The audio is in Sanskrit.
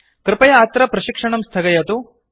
कृपया अत्र प्रशिक्षणं स्थगयतु